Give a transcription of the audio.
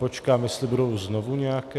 Počkám, jestli budou znovu nějaké...